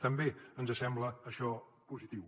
també ens sembla això positiu